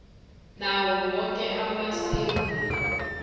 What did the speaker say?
nawo woke amasewula